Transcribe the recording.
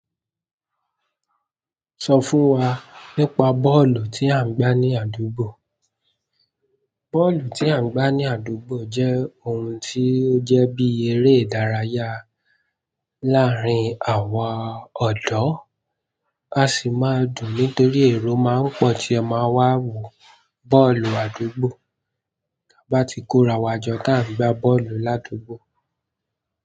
Sọ fún wa nípa bọ́ọ̀lù tí à ń gbá ní àdúgbò. Bọ́ọ̀lù tí à ń gbá ní àdúgbò jẹ́ ohun tí ó jẹ́ bí eré ìdárayá láàárín àwa ọ̀dọ́. A sì máa dùn nítorí èrò má ń pọ̀ tí ẹ máa wá wo bọ́ọ̀lù àdúgbò tá bá ti kórawọ́ jọ ta n gbá bọ́ọ̀lù ládùúgbò.